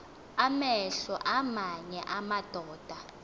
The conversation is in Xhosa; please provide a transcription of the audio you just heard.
amehlo aamanye amadoda